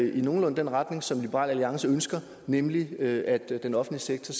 i nogenlunde den retning som liberal alliance ønsker nemlig at den offentlige sektor